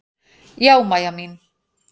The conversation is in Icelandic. Já, Mæja mín.